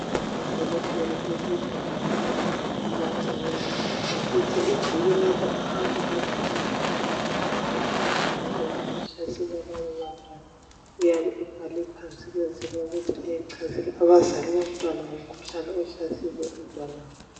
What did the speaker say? udokotela esegumbini labanwtana abancinyane ephethe ibhuku lapho ahamba ebhala khona mayelana lemkhuhlane ehlasela labo bantwana uyabe ebhale phansi ukwenzela ukuthi achazele abazali bomntwana ngomkhuhlane ohlasele umntwana wabo